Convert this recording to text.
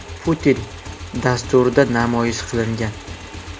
Putin” dasturida namoyish qilingan .